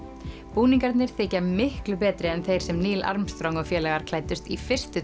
búningarnir þykja miklu betri en þeir sem Armstrong og félagar klæddust í fyrstu